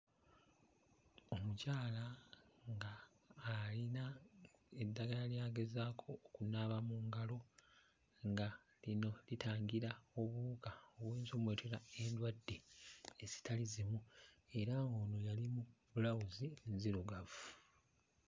Omukyala nga ayina eddagala ly'agezaako okunaaba mu ngalo nga lino litangira obuwuka obuyinza ommuleetera endwadde ezitali zimu. Era ng'ono yali mu bbulawuzi nzirugavu.